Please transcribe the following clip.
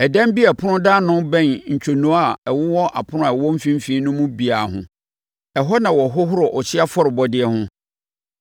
Ɛdan bi a ɛpono da ano bɛn ntwonoo a ɛwowɔ apono a ɛwɔ mfimfini no mu biara ho. Ɛhɔ na wɔhohoro ɔhyeɛ afɔrebɔdeɛ ho.